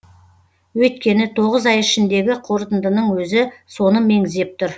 өйткені тоғыз ай ішіндегі қорытындының өзі соны меңзеп тұр